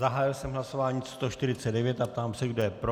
Zahájil jsem hlasování 149 a ptám se, kdo je pro.